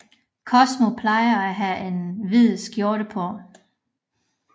Cosmo plejer at have en hvid skjorte på